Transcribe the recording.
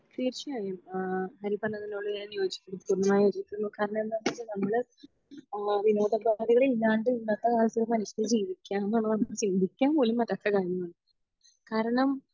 തീർച്ചയായും അഹ് ഹരി പറഞ്ഞതിനോട് ഞാൻ യോജിക്കുന്നു കാരണം എന്താണെന്ന് വെച്ചാൽ നമ്മൾ വിനോദ ഇല്ലാണ്ട് ഇന്നത്തെ കാലത്ത് ഒരു മനുഷ്യന് ജീവിക്കാ എന്നുള്ളത് നമുക് ചിന്തിക്കാൻ പോലും പറ്റാത്ത കാര്യമാണ് കാരണം